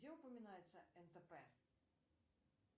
где упоминается нтп